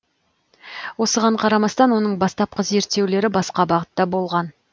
осыған қарамастан оның бастапқы зерттеулері басқа бағытта болған